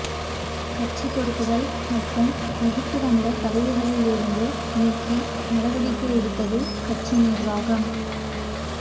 கட்சிப் பொறுப்புகள் மற்றும் வகித்து வந்த பதவிகளில் இருந்து நீக்கி நடவடிக்கை எடுத்தது கட்சி நிர்வாகம்